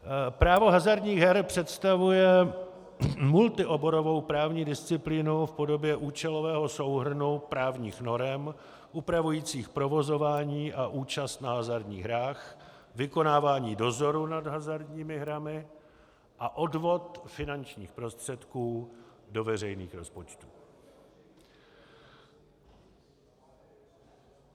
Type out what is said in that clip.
Právo hazardních her představuje multioborovou právní disciplínu v podobě účelového souhrnu právních norem upravujících provozování a účast na hazardních hrách, vykonávání dozoru nad hazardními hrami a odvod finančních prostředků do veřejných rozpočtů.